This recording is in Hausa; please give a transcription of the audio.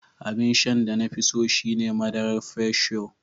Abin sha da na fi so shi ne madarar Fresh Yo.